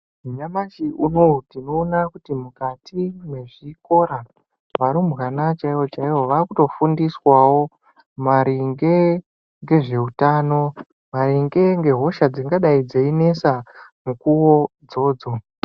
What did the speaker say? Nyamashi unouyu tinoona kuti mukati mezvikora varumbwana chaivo chaivo vakutofundiswawo maringe ngezveutano maringe ngehosha dzingadai dzeinesa mukuwo idzodzo.